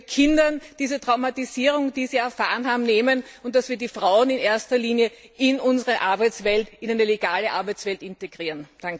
Dass wir Kindern die Traumatisierungen, die sie erfahren haben, nehmen, und dass wir die Frauen in erster Linie in unsere Arbeitswelt, in eine legale Arbeitswelt, integrieren.